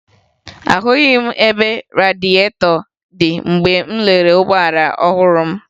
Ahụghị m ebe radịetọ dị mgbe m lelere ụgbọala ọhụrụ m